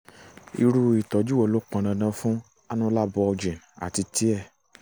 irú ìtọ́jú wo ló pọn dandan fún annular bulging àti tear?